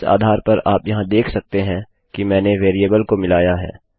इस आधार पर आप यहाँ देख सकते हैं कि मैंने वेरिएबल को मिलाया है